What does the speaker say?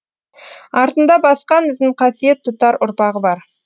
артында басқан ізін қасиет тұтар ұрпағы бар